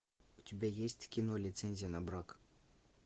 у тебя есть кино лицензия на брак